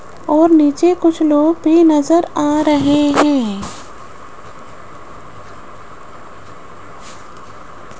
और नीचे कुछ लोग भी नज़र आ रहे है।